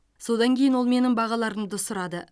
содан кейін ол менің бағаларымды сұрады